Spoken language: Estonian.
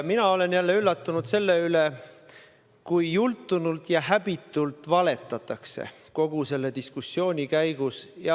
Mina olen jälle üllatunud selle peale, kui jultunult, häbitult valetatakse kogu selle diskussiooni käigus.